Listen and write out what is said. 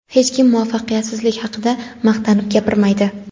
Hech kim muvaffaqiyatsizlik haqida maqtanib gapirmaydi.